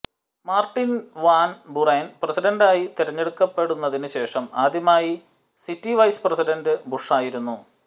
Martin Van Buren പ്രസിഡന്റായി തെരഞ്ഞെടുക്കപ്പെടുന്നതിന് ശേഷം ആദ്യമായി സിറ്റി വൈസ് പ്രസിഡൻറ് ബുഷായിരുന്നു